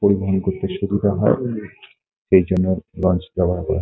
পরিবহন করতে সুবিধা হয় এই জন্য বাস ব্যবহার করা ।